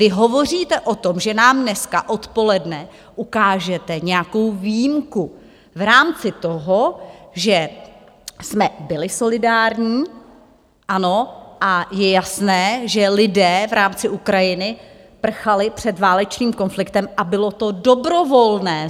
Vy hovoříte o tom, že nám dneska odpoledne ukážete nějakou výjimku v rámci toho, že jsme byli solidární, ano, a je jasné, že lidé v rámci Ukrajiny prchali před válečným konfliktem a bylo to dobrovolné.